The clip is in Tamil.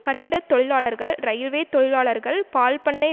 கட்டிட தொழிலாளர்கள் இரயில்வே தொழிலாளர்கள் பால்பண்ணை